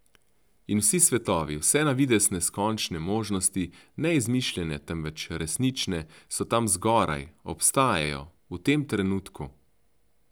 In vsi svetovi, vse na videz neskončne možnosti, ne izmišljene, temveč resnične, so tam zgoraj, obstajajo, v tem trenutku.